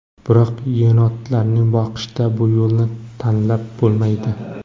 Biroq yenotlarni boqishda bu yo‘lni tanlab bo‘lmaydi.